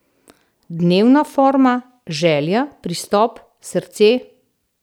Dnevna forma, želja, pristop, srce ...